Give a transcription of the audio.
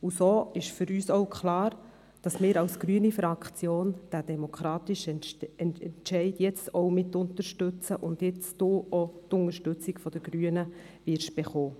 So ist für uns auch klar, dass wir als grüne Fraktion diesen demokratischen Entscheid jetzt mitunterstützen, sodass Sie jetzt auch die Unterstützung der Grünen erhalten.